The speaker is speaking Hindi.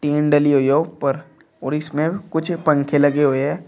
टीन डली हुई है ऊपर और इसमें कुछ पंखे लगे हुए है।